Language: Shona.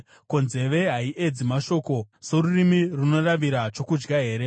Ko, nzeve haiedzi mashoko sorurimi runoravira chokudya here?